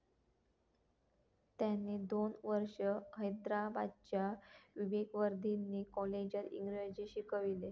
त्यांनी दोन वर्ष हैद्राबादच्या विवेकवर्धिनी कॉलेजात इंग्रजी शिकवले.